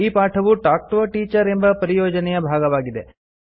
ಈ ಪಾಠವು talk to a teacher ಎಂಬ ಪರಿಯೋಜನೆಯ ಭಾಗವಾಗಿದೆ